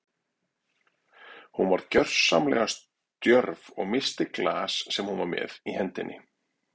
Hún varð gersamlega stjörf og missti glas sem hún var með í hendinni.